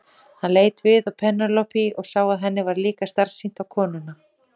Hann leit við á Penélope og sá að henni var líka starsýnt á konuna.